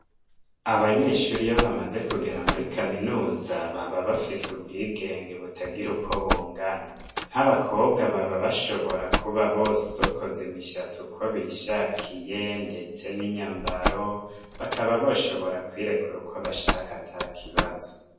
Abanyeshure iyo bamaze kugera muri kaminuza baba bafise ubwigenge butagira uko bungana, nk'abakobwa baba bashobora kuba bosokoza imishatsi uko bishakiye ndetse n'inyamabaro bakaba boshobora kwirekura uko bashaka ata kibazo.